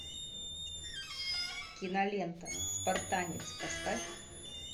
кинолента спартанец поставь